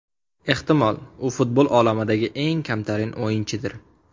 Ehtimol, u futbol olamidagi eng kamtarin o‘yinchidir.